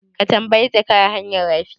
Ka tambayi zakara hanyar rafi?